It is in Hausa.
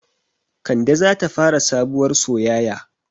Kande zata fara sabuwar soyaya